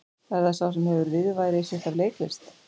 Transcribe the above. Er það sá sem hefur viðurværi sitt af leiklist?